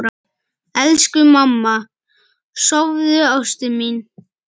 Elsku mamma, sofðu, ástin mín.